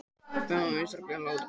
Árbjört, spilaðu lagið „Flakkarinn“.